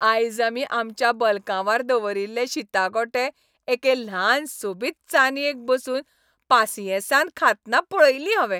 आयज आमी आमच्या बलकांवार दवरिल्ले शीता गोटे एके ल्हान सोबीत चानयेक बसून पासियेंसान खातना पळयली हांवें.